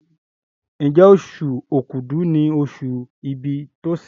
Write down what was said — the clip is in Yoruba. Njé Oṣù Òkúdu ní oṣù ibì Tosin?